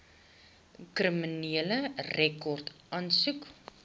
kriminele rekord aansoek